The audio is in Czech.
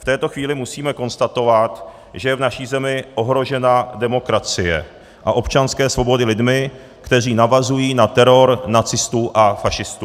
V této chvíli musíme konstatovat, že je v naší zemi ohrožena demokracie a občanské svobody lidmi, kteří navazují na teror nacistů a fašistů.